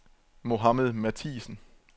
Mohamed Mathiesen